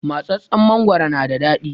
Matsatstsen mangoro na da daɗi